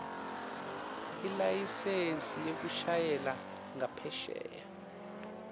ilayisensi yekushayela ngaphesheya